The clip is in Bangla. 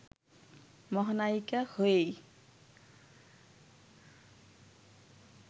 মহানায়িকা হয়েই